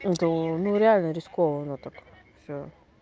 это ну реально рискованно так всё